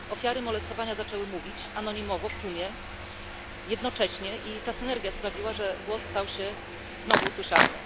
Ofiary molestowania zaczęły mówić anonimowo, w tłumie, jednocześnie i ta synergia sprawiła, że głos stał się znowu słyszalny.